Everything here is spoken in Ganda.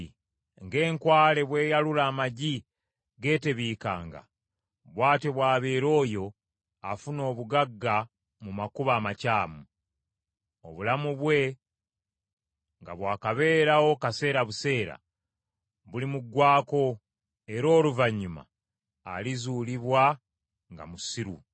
Ng’enkwale bw’eyalula amagi geetebiikanga, bw’atyo bw’abeera oyo afuna obugagga mu makubo amakyamu; obulamu bwe nga bwakabeerawo kaseera buseera, bulimuggwaako era oluvannyuma alizuulibwa nga musiru.